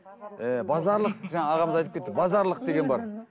ііі базарлық жаңа ағамыз айтып кетті базарлық деген бар